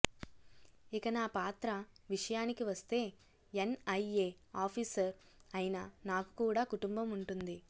ఇక నా పాత్ర విషయానికి వస్తే ఎన్ఐఎ ఆఫీసర్ అయినా నాకు కూడా కుటుంబం ఉంటుంది